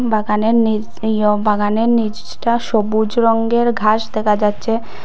বাগানের নীচ ইয়ো বাগানের নীচটা সবুজ রঙ্গের ঘাস দেকা যাচ্চে।